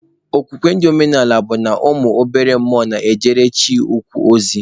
Okwukwe ndị omenaala bụ na ụmụ obere mmụọ na-ejere Chi ukwu ozi.